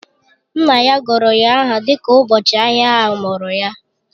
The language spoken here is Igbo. Nna ya gụrụ ya aha dịka ụbọchị ahịa a mụrụ ya